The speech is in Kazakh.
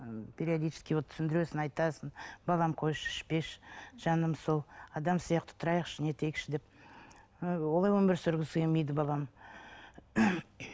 ы периодический вот түсіндіресің айтасың балам қойшы ішпеші жаным сол адам сияқты тұрайықшы не етейікші деп ы олай өмір сүргісі келмейді балам